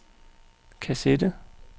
kassette